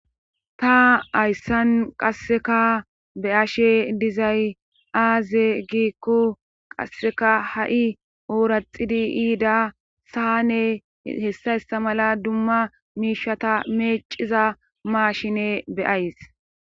ta hayssan qasseka be'ashe dizay aaze giikko qasseka ha'i ooraxidi yiida saane hessa hessa mala dumma miishata meeciza maashine be'ays